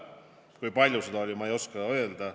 Kui palju seda oli, ei oska ma öelda.